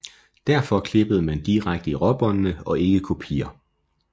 Derfor klippede man direkte i råbåndene og ikke kopier